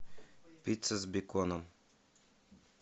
пицца с беконом